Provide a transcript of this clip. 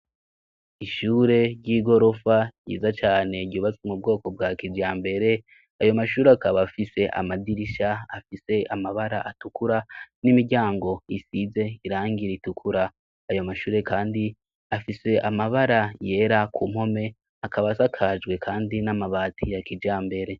Ishure ry'igorofa ryiza cyane ryubatswe mu bwoko bwa kijambere; ayo mashure akaba afise amadirisha afise amabara atukura, n'imiryango isize irangi ritukura. Ayo mashure kandi afise amabara yera ku mpome, akaba asakajwe kandi n'amabati ya kijambere.